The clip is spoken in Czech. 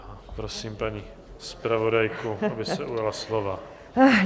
Prosím paní zpravodajku, aby se ujala slova.